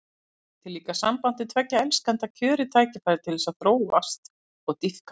Hún veitir líka sambandi tveggja elskenda kjörið tækifæri til þess að þróast og dýpka.